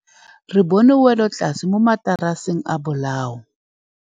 Re bone wêlôtlasê mo mataraseng a bolaô.